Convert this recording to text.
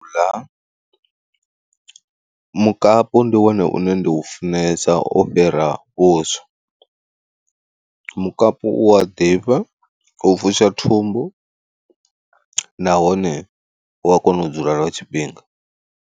U ḽa mukapu ndi wone une nda u funesa o fhira vhuswa. Mukapu u a ḓifha u fusha thumbu, nahone u a kona u dzula lwa tshifhinga.